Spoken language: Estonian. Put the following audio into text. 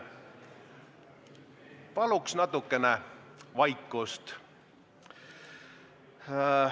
Paluks natukene vaikust!